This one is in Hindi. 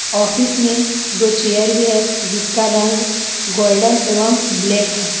ऑफिस मे दो चेयर भी है जिसका रंग गोल्डन एवं ब्लैक है।